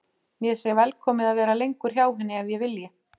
Mér sé velkomið að vera lengur hjá henni ef ég vilji.